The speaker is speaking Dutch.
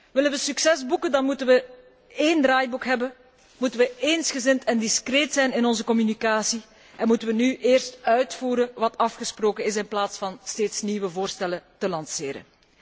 Willen we succes boeken, dan moeten we één draaiboek hebben, moeten we eensgezind en discreet zijn in onze communicatie en moeten we nu eerst uitvoeren wat afgesproken is in plaats van steeds nieuwe voorstellen te lanceren.